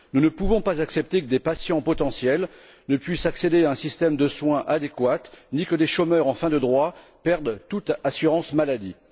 Nous ne pouvons pas accepter que ces patients potentiels ne puissent accéder à un système de soins adéquat, ni que des chômeurs en fin de droit perdent toute assurance maladie.